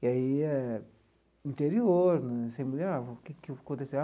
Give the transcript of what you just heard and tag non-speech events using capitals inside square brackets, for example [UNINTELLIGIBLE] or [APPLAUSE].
E aí eh, interior né, você [UNINTELLIGIBLE] o que que aconteceu.